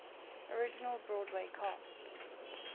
original broadway cast